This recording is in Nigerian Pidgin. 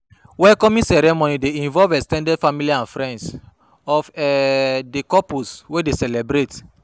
welcoming ceremony de involve ex ten ded family and friends of um the couples wey de celebrate